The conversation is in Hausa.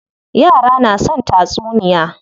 Yara na son tatsuniya.